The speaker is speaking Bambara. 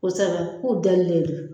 Kosɛbɛ k'u dɛlilen don